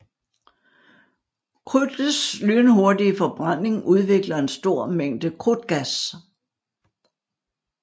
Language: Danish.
Krudtets lynhurtige forbrænding udvikler en stor mængde krudtgas